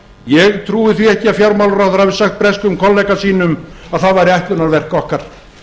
ég trúi því ekki að fjármálaráðherra hafi sagt breskum kollega sínum að það væri ætlunarverk okkar